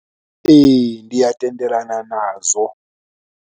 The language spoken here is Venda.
Ee, ndi a tendelana nazwo.